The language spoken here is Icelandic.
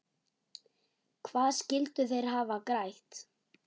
Hvað skyldu þeir hafa grætt?